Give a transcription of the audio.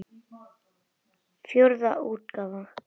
Fjórða útgáfa.